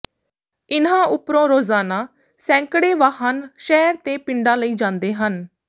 ਇਨ੍ਹਾਂ ਉਪਰੋਂ ਰੋਜ਼ਾਨਾ ਸੈਂਕੜੇ ਵਾਹਨ ਸ਼ਹਿਰ ਤੇ ਪਿੰਡਾਂ ਲਈ ਜਾਂਦੇ ਹਨ